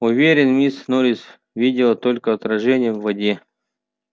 уверен миссис норрис видела только отражение в воде